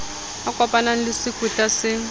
a kopanang le sekweta se